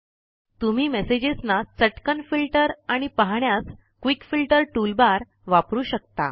तुम्ही मेसेजेस ना चटकन फिल्टर आणि पाहण्यास क्विक फिल्टर टूलबार वापरू शकता